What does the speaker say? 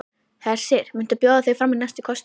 Hersir: Muntu bjóða þig fram í næstu kosningum?